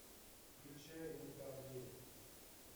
включай не та дверь